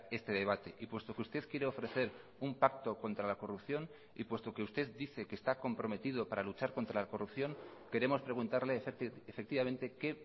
este debate y puesto que usted quiere ofrecer un pacto contra la corrupción y puesto que usted dice que está comprometido para luchar contra la corrupción queremos preguntarle efectivamente qué